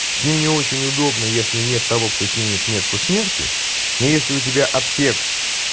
с ним не очень удобно если нет того кто снимет метку смерти но если у тебя аптек